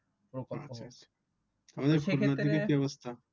সেক্ষেত্রে কি অবস্থা